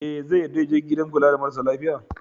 E, zai yarda ya je gidan kula da marasa lafiya.